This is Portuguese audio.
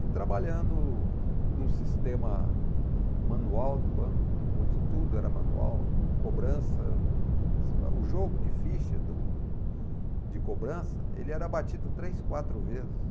E trabalhando num sistema manual do banco, onde tudo era manual, cobrança, o jogo de ficha do de cobrança, ele era batido três, quatro vezes.